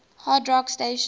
hard rock stations